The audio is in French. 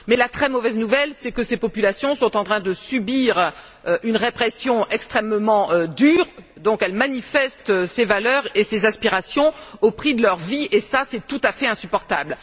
Mais la très mauvaise nouvelle, c'est que ces populations sont en train de subir une répression extrêmement dure, donc elles manifestent ces valeurs et ces aspirations au prix de leur vie et, cela est tout à fait insupportable.